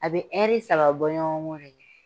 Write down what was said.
A bɛ saba bɔɲɔgɔnko de kɛ.